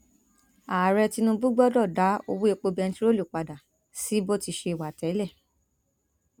ààrẹ tinubu gbọdọ dá owó epo bẹntiróòlù padà sí bó ti ṣẹ wá tẹlẹ